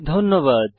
ধন্যবাদ